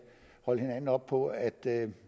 holde hinanden op på at